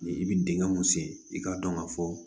Ni i bi dingɛ mun sen i k'a dɔn ka fɔ